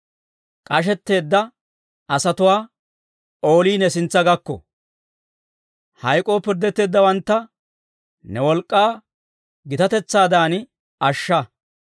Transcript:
K'ashetteedda asatuwaa oolii ne sintsa gakko. Hayk'oo pirddetteeddawantta ne wolk'k'aa gitatetsaadan ashsha.